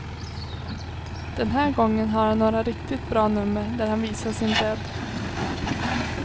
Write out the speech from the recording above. Den här gången har han några riktigt bra nummer där han visar sin bredd.